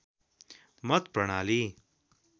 मत प्रणाली